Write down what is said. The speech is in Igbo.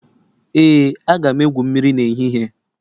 Ee, aga m egwu mmiri n'ehihie